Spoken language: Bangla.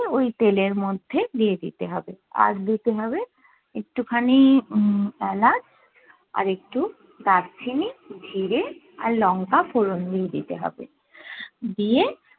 ওই তেলের মধ্যে দিয়ে দিতে হবে আর দিতে হবে একটু খানি উম এলাচ আর একটু দারচিনি, জিরে আর লংকা ফোড়ন দিয়ে দিতে হবে দিয়ে